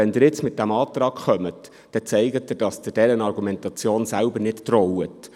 Wenn Sie mit diesem Antrag kommen, zeigen Sie, dass Sie dieser Argumentation selber nicht trauen.